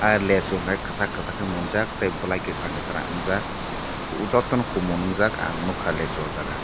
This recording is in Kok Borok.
lasu hai kachak kachak ke mungjaak bwlai kakrang kakrang unjak jotto kumun ungjaak ang nugka lasu aw jaaga.